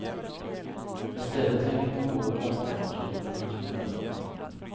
Istället tänker man gå på vattendomstolarnas bedömning.